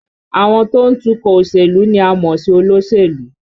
Àwọn tó ń tukọ̀ òṣèlú ni a mọ̀ sí olóṣèlú